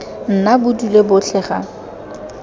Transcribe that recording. nna bo dule botlhe ga